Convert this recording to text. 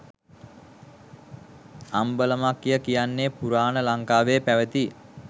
අම්බලමක්ය කියන්නේ පුරාණ ලංකාවේ පැවති